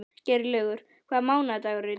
Geirlaugur, hvaða mánaðardagur er í dag?